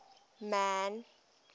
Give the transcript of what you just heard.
man